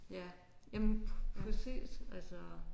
Ja jamen præcis altså